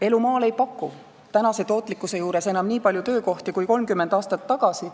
Elu maal ei paku tänase tootlikkuse tõttu enam nii palju töökohti kui 30 aastat tagasi.